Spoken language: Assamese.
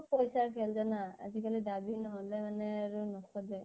চব পইছা খেল জানা । আজিকালি দাবি নহলে মানে আৰু নসজে ।